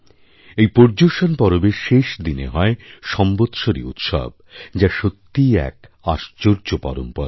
এই পর্যুষণ পরবএর শেষ দিনে হয় সম্বৎসরিউৎসব যা সত্যিই এক আশ্চর্য পরম্পরা